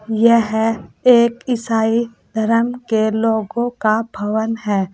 यह एक ईसाई धर्म के लोगो का भवन है।